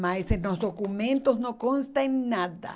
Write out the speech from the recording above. mas em nos documentos não consta em nada.